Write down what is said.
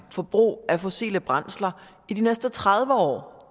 forbruget af fossile brændsler i de næste tredive år